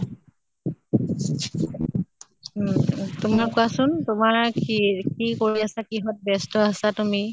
উম উম তোমাৰ কোৱা চোন তোমাৰ কি কি কৰি আছা, কিহত ব্য়স্ত আছা তুমি?